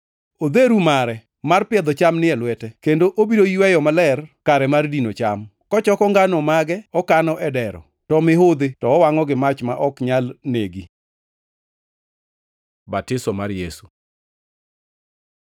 Odheru mare mar piedho cham ni e lwete, kendo obiro yweyo maler kare mar dino cham, kochoko ngano mage okano e dero, to mihudhi to owangʼo gi mach ma ok nyal negi.” Batiso mar Yesu